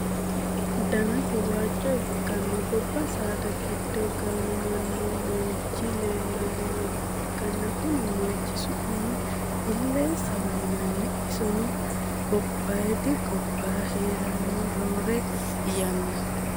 danasi waajjo ikkino gobba saada giddo gaamamanno moyiichi leellanni nooha ikkanna, konni moyiichi su'mino hilleessaho yinanni isino gobbaayidi gobbara heeranno roore yanna.